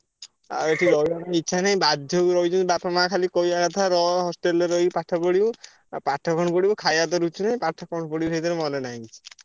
ଆଉ ଏଠି ରହିଆକୁ ଇଛା ନାହିଁ ବାଧ୍ୟକୁ ରହିଛନ୍ତି ବାପା ମାଆ ଖାଲି କହିଆ କଥା ରହ hostel ରେ ରହି ପାଠ ପଢିବୁ। ଆଉ ପାଠ କଣ ପଢିବୁ ଖାୟା ତ ରୁଚୁନି। ପାଠ କଣ ପଢିବୁ ସେଇଥିରେ ମନ ନାହିଁ କିଛି।